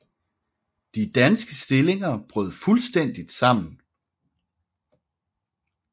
De danske stillinger brød fuldstændigt sammen